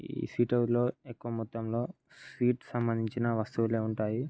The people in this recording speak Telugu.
ఎక్కువ మొత్తం లో స్వీట్ కి సంబంధించిన వస్తువులే ఉంటాయి.